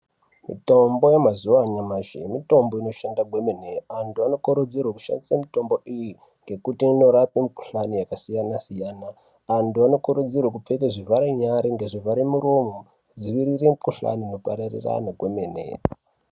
Mitombo yemazuva anyamashi mitombo inoshanda kwemene, antu anokurudzirwe kushandisa mutombo iyi ngekuti inorape mikuhlani yakasiyana siyana. Antu anokurudzirwe kupfeke zvivharenyara ngezvivharamuromo kudzivirire mikuhlane inopararirane kwemene.